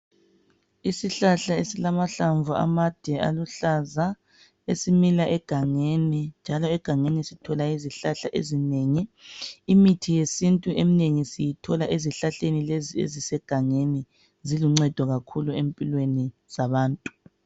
Isihlahla esilamahlamvu amade aluhlaza esimila eganengi njalo egangeni sithola izihlahla ezinengi. Imithi yesintu eminengi eminengi siyithola ezihlahleni lezi ezisegangeni. Ziluncendo kakhulu empilweni zabantu.